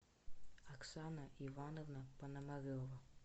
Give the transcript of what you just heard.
оксана ивановна пономарева